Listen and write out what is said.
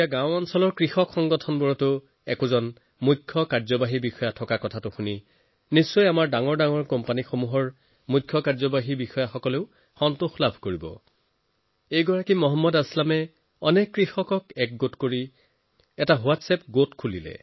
আশা কৰা হৈছে যে ডাঙৰ ডাঙৰ কোম্পানীৰ চিইঅসকলে এই কথা শুনি ভাল পাব যে এতিয়া দেশৰ দূৰৱৰ্তী অঞ্চলত কাম কৰি থকা কৃষক সংগঠনসমূহতো চিইঅ হবলৈ লৈছে বন্ধুসকল মহম্মদ আছলামজীয়ে নিজৰ ক্ষেত্ৰৰ অনেক কৃষকক একত্ৰিত কৰি এটা হোৱাট্ছএপ গ্ৰুপ বনাইছে